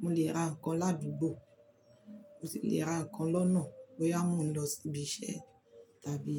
mo lè ra nǹkan ládùúgbò, mo sì lè ra nǹkan lọ́nà bóyá mo ń lọ síbi iṣẹ́ tàbí